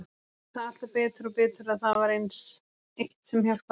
Ég sé það alltaf betur og betur að það var aðeins eitt sem hjálpaði henni.